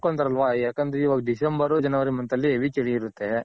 ನೋಡ್ಕೊಂತರಲ್ವ ಯಾಕಂದ್ರೆ ಇವಾಗ December, January month ಅಲ್ಲಿ heavy ಚಳಿ ಇರುತ್ತೆ.